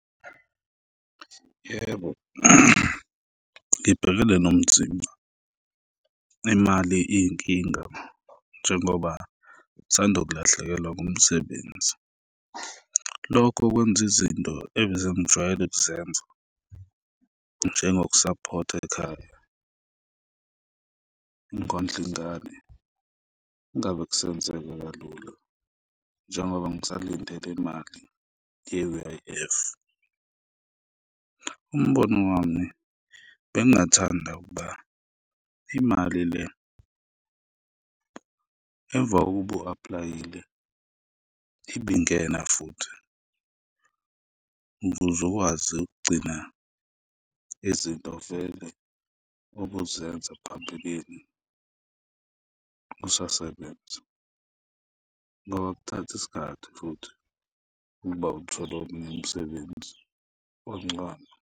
Yebo, ngibhekele nomzimba, imali iyinkinga njengoba ngisanda kulahlekelwa ngumsebenzi, lokho kwenza izinto ebese ngijwayele ukuzenza, njengokusaphotha ekhaya, ukondla ingane, kungabe kusenzeka kalula njengoba ngisalinde le imali ye-U_I_F. Umbono wami, bengingathanda ukuba imali le, emva kokuba u-apply-ile, ibingena futhi ukuze ukwazi ukugcina izinto vele obuzenza phambilini usasebenza ngoba kuthatha isikhathi futhi ukuba uthole omunye umsebenzi omncane.